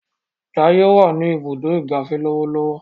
Jaiye wá ní Ibùdó ìgbafẹ́ lọwọlọwọ.